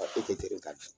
E tɛ ka dun